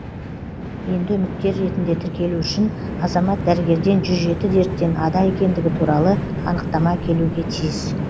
енді үміткер ретінде тіркелу үшін азамат дәрігерден жүз жеті дерттен ада екендігі туралы анықтама әкелуге тиіс